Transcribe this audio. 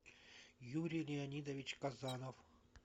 юрий леонидович казанов